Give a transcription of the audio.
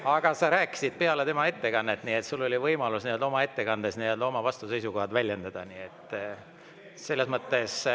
Aga sa rääkisid peale tema ettekannet, nii et sul oli võimalus oma ettekandes oma vastuseisukohti väljendada, nii et selles mõttes …